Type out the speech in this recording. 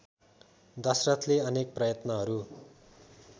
दशरथले अनेक प्रयत्नहरू